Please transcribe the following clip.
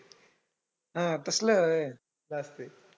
हा तसलं व्हयं. असतंय?